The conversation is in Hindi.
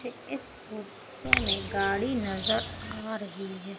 इस फोटो में गाड़ी नजर आ रही है।